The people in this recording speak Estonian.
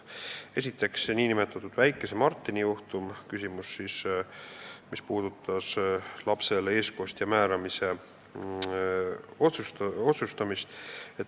Esiteks, see nn väikese Martini juhtum – küsimus, mis puudutas lapsele eestkostja määramise otsustamist.